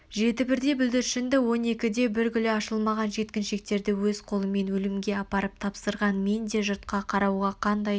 жеті бірдей бүлдіршінді он екіде бір гүлі ашылмаған жеткіншіктерді өз қолымен өлімге апарып тапсырған менде жұртқа қарауға қандай